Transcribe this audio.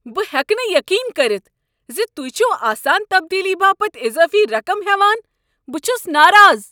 بہٕ ہٮ۪کہٕ نہٕ یقین کٔرتھ ز تُہۍ چھو آسان تبدیلی باپتھ اضٲفی رقم ہٮ۪وان۔ بہٕ چھس ناراض۔